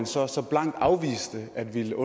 så så er det herre